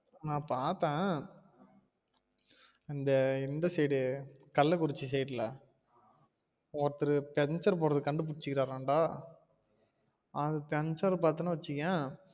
நா பாத்தேன் அந்த இந்த side கள்ளக்குறிச்சி side ல ஒருத்தர் பஞ்சர் போடுறதுக்கு கண்டு பிடிசுருக்கறாம் டா அந்த பஞ்சர் பாத்தினா வச்சுக்கோய